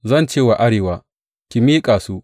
Zan ce wa arewa, Ku miƙa su!’